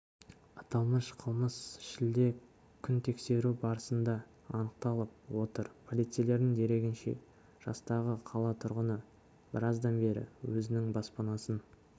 аталмыш қылмыс шілде күнітексеру барысында анықталып отыр полицейлердің дерегінше жастағы қала тұрғыны біраздан бері өзінің баспанасын